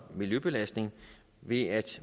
miljøbelastning ved at